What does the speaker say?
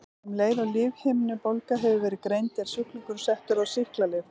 Um leið og lífhimnubólga hefur verið greind er sjúklingurinn settur á sýklalyf.